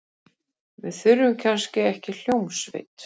Við þurfum kannski ekki hljómsveit.